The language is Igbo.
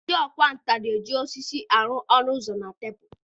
Ndị ọkwá nkà na-eji osisi arụ ọnụ ụzọ na tebụl.